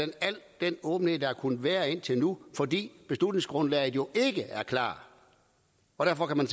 al den åbenhed der har kunnet være indtil nu fordi beslutningsgrundlaget jo ikke er klart og derfor kan man